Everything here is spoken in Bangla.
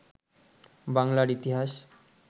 বাংলার ইতিহাস